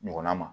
Ɲɔgɔnna ma